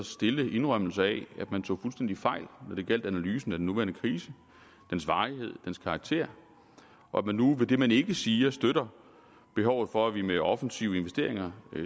stille indrømmelse af at man tog fuldstændig fejl når det gjaldt analysen af den nuværende krise dens varighed dens karakter og at man nu med det man ikke siger støtter behovet for at vi med offensive investeringer